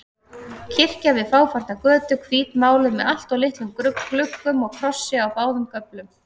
Kirkja við fáfarna götu, hvítmáluð með alltof litlum gluggum og krossi á báðum göflum.